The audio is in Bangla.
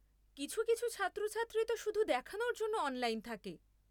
কিছু কিছু ছাত্রছাত্রী তো শুধু দেখানোর জন্য অনলাইন থাকে।